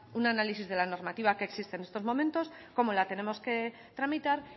un análisis de la normativa que existe en estos momentos cómo la tenemos que tramitar